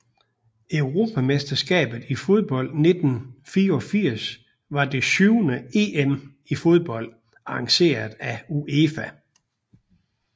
Europamesterskabet i fodbold 1984 var det syvende EM i fodbold arrangeret af UEFA